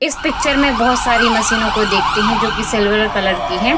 इस पिक्चर मे बहुत सारी मशीनों को देखते है जो की सिल्वर कलर की हैं।